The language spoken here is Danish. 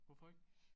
Hvorfor ikke?